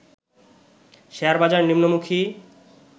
শেয়ারবাজার নিম্নমুখী